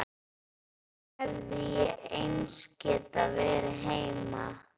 Þá hefði ég eins getað verið heima.